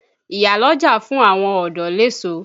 Ìyá lọ́jà fún àwọn ọ̀dọ́ l'èso.